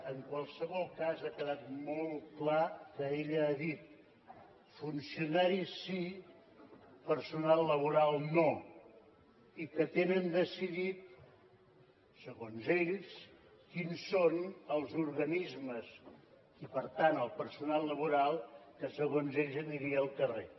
en qualsevol cas ha quedat molt clar que ella ha dit funcionaris sí personal laboral no i que tenen decidit segons ells quins són els organismes i per tant el personal laboral que segons ells aniria al carrer